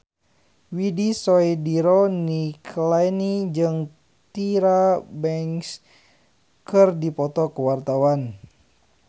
Widy Soediro Nichlany jeung Tyra Banks keur dipoto ku wartawan